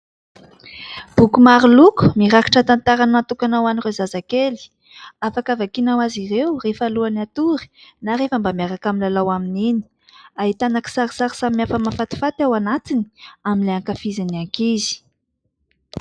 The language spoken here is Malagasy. Boky maro loko mirakitra tantara natokana ho an'ireo zazakely, afaka vakiana ho azy ireo rehefa alohan'ny hatory na rehefa mba miaraka milalao amin'iny. Ahitana kisarisary samihafa mahafatifaty ao anatiny amin'ilay ankafizin'ny ankizy.